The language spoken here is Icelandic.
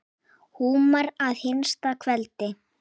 Húmar að hinsta kveldi.